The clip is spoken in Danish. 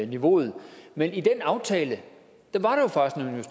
niveauet men i den aftale var